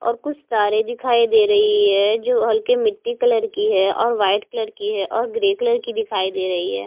और कुछ तारे दिखाई दे रही है जो हल्के मिट्टी कलर की है और व्हाइट की है और ग्रे कलर की दिखाई दे रही है।